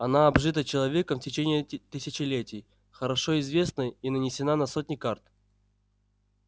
она обжита человеком в течение тысячелетий хорошо известна и нанесена на сотни карт